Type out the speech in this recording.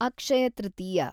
Akshaya Tritiya